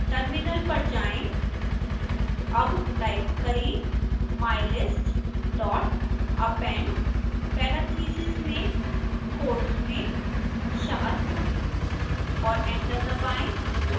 terminal पर जाएं